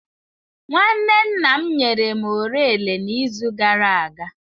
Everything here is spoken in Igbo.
Nwanne nna m nyere m orele n'izu gara aga.